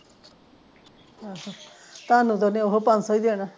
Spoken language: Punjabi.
ਅਹ ਤੁਹਾਨੂੰ ਤੇ ਓਹਨੇ ਉਹੋ ਪੰਜ ਸੌ ਹੀ ਦੇਣਾ